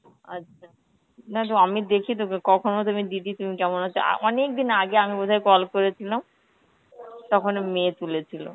আচ্ছা না তো আমি দেখি তোকে কখনো তুমি দিদি তুমি কেমন আছো, আ অনেকদিন আগে আমি বোধহয় call করেছিলাম, তখনো মেয়ে তুলেছিল,